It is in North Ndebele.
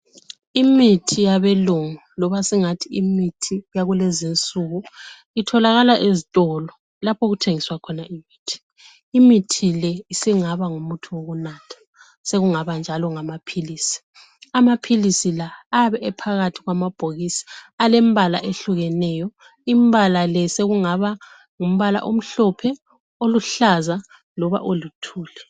Imithi yabelungu loba singathi imithi yakulezinsuku. Itholakala ezitolo lapho okuthengiswa khona imithi. Imithi le isingaba ngumuthi wokunatha ,sokungaba njalo ngamaphilisi. Amaphilisi la ayabe ephakathi kwamabhokisi alembala ehlukeneyo ,imbala le sokungaba Ngumbala omhlophe, oluhlaza loba oluthuli.